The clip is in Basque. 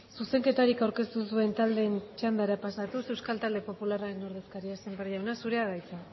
zuzenketarik aurkeztu ez duen taldearen txandara pasatuz euskal talde popularraren ordezkaria sémper jauna zurea da hitza